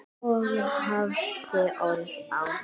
Og hafði orð á.